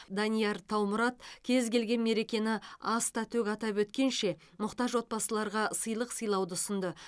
данияр таумұрат кез келген мерекені аста төк атап өткенше мұқтаж отбасыларға сыйлық сыйлауды ұсынды